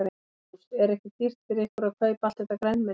Magnús: Er ekki dýrt fyrir ykkur að kaupa allt þetta grænmeti?